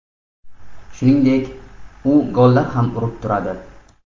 Shuningdek, u gollar ham urib turadi.